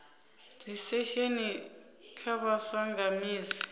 dzisesheni kha vhaswa nga misi